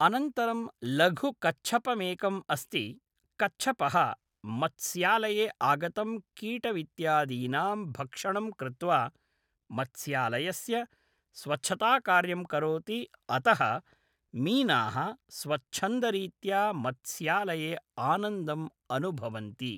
अनन्तरं लघु कच्छपमेकम् अस्ति कच्छपः मत्स्यालये आगतं कीटमित्यादीनां भक्षणं कृत्वा मत्स्यालयस्य स्वच्छताकार्यं करोति अतः मीनाः स्वच्छन्दरीत्या मत्स्यालये आनन्दम् अनुभवन्ति